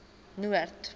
noord